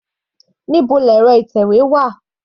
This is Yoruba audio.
Níbo ni ẹ̀rọ ìtẹ̀wé wà?